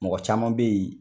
Mɔgɔ caman bɛ ye